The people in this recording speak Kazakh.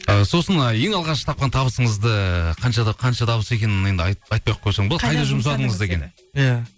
і сосын ең алғаш тапқан табысыңызды қаншада қанша табыс екенін енді айтпай ақ қойсаң болады қайда жұмсадыңыз деген иә